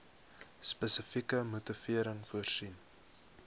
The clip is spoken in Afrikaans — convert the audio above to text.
spesifieke motivering voorsien